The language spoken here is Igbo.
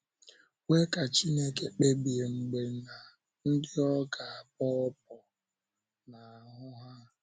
Kwee ka Chineke kpebie mgbe na ndị ọ ga - abọ ọ́bọ̀ n’ahụ́ ha.